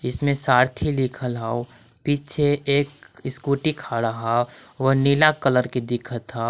इसमें सारथी लिखल हौ पीछे एक स्कुटी खड़ा हौ उ नीला कलर के दिखत हौ।